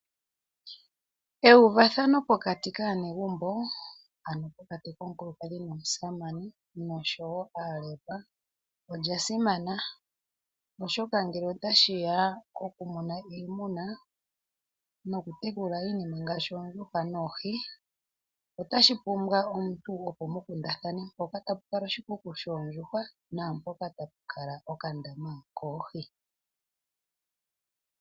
Euvathano pokati kaanegumbo, ano pokati komukulukadhi nomusamane nosho wo aalelwa olya simana, oshoka ngele otashi ya pokumuna iimuna, nokutekula iinima ngaashi oondjuhwa noohi, otashi pumbwa omuntu opo mu kundathane mpoka tapu kala oshikuku shoondjuhwa naampoka tapu kala okandama koohi.